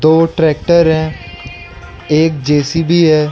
और ट्रैक्टर है एक जे_सी_बी है।